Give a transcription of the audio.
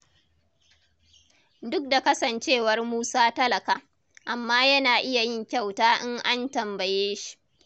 Duk da kasancewar Musa talaka, amma yana iya yin kyuata in an tambaye shi